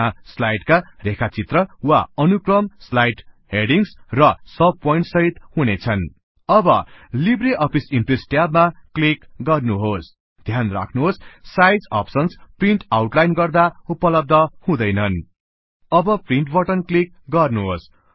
त्यहाँ स्लाइडस्का रेखाचित्र वा अनुक्रम स्लाइड हेडिंगस् र सब पोइन्ट्स सहित हुनेछन अब लिबरअफिस इम्प्रेस ट्याब मा क्लीक गर्नुहोस् ध्यान राख्नुहोस साइज अप्सनस् प्रिन्ट आउटलाइन गर्दा उपलब्ध हुँदैनन अब प्रिन्ट बटन क्लीक गर्नुहोस्